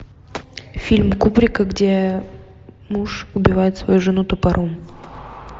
фильм кубрика где муж убивает свою жену топором